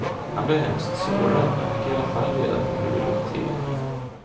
Han blev hemskt sårad, men fick i alla fall reda på hur det låg till.